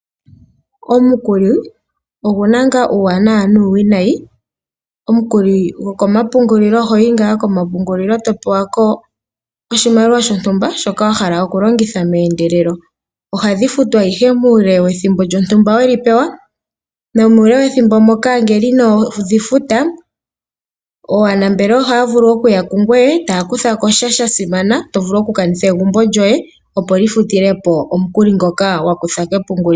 Omukuli oguna ngaa uuwanawa nuuwinayi. Omukuli gokomapungulilo ohoyi ngaa komapungulilo e to pewako oshimaliwa shontumba shoka wa hala okulongitha meendelelo. Ohadhi futwa ihe muule wethimbo we li pewa